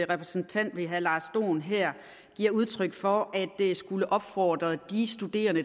repræsentant ved herre lars dohn her giver udtryk for at skulle opfordre de studerende